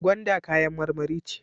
Gwanda kayan marmari ce.